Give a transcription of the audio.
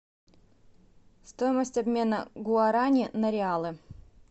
стоимость обмена гуарани на реалы